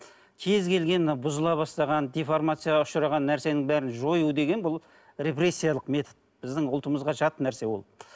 кез келген бұзыла бастаған деформацияға ұшыраған нәрсенің бәрін жою деген бұл репрессиялық метод біздің ұлтымызға жат нәрсе ол